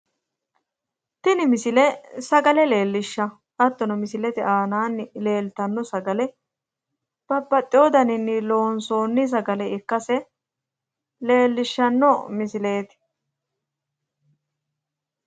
Tini misile sagale leelishsha. Hattono misilete aanaanni leltanno sagale babaxewo dadaninni loonsoonn sagale ikkase leellishshanno misileetti.